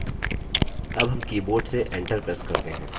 अब हम keyboard से enter press करते हैं